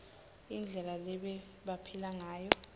indlela lebebaphila ngayo